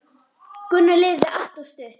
Gunnar lifði allt of stutt.